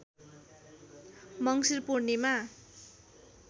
मङ्सिर पूर्णिमा